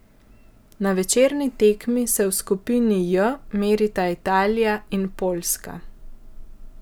Na večerni tekmi se v skupini J merita Italija in Poljska.